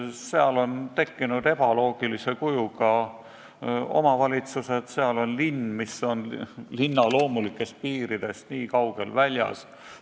Seal on tekkinud ebaloogilise kujuga omavalitsused: seal on linn, mis on linna loomulikest piiridest kaugel väljas.